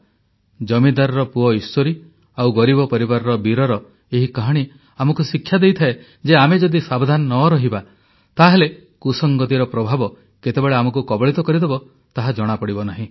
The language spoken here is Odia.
ଜମିଦାରର ପୁଅ ଈଶ୍ୱରୀ ଆଉ ଗରିବ ପରିବାରର ବୀରର ଏହି କାହାଣୀ ଆମକୁ ଶିକ୍ଷା ଦେଇଥାଏ ଯେ ଆମେ ଯଦି ସାବଧାନ ନ ରହିବା ତାହେଲେ କୁସଙ୍ଗତିର ପ୍ରଭାବ କେତେବେଳେ ଆମକୁ କବଳିତ କରିଦେବ ତାହା ଜଣାପଡ଼ିବ ନାହିଁ